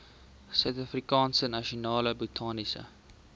suidafrikaanse nasionale botaniese